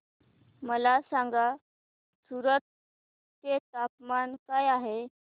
मला सांगा सूरत चे तापमान काय आहे